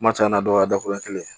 Kuma caman na dɔw ka dakuru ye kelen ye